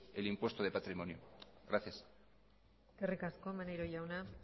el impuesto de patrimonio gracias eskerrik asko maneiro jauna